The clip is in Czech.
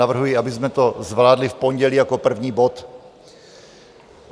Navrhuji, abychom to zvládli v pondělí jako první bod.